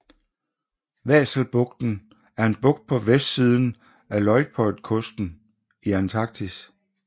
Vahselbugten er en bugt på vestsiden af Luitpoldkysten i Antarktis